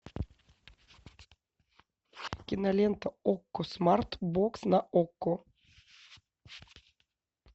кинолента окко смарт бокс на окко